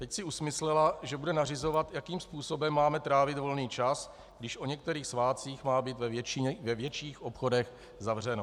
Teď si usmyslela, že bude nařizovat, jakým způsobem máme trávit volný čas, když o některých svátcích má být ve větších obchodech zavřeno.